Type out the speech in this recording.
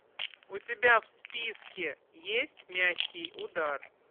у тебя в списке есть мягкий удар